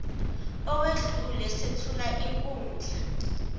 owedlule sethule inkundla